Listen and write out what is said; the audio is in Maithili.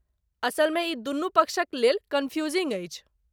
असलमे, ई दुनू पक्षक लेल कन्फ्यूजिंग अछि।